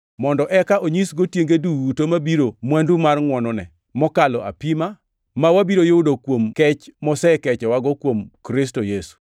mondo eka onyisgo tienge duto mabiro mwandu mar ngʼwonone mokalo apima, ma wabiro yudo kuom kech mosekechowago kuom Kristo Yesu.